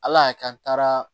Ala y'a kɛ an taara